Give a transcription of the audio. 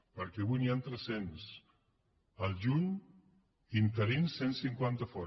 perquè avui n’hi han tres cents al juny interins cent cinquanta a fora